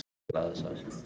En þú getur það ekki.